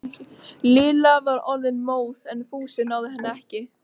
Lilla var orðin móð en Fúsi náði henni ekki.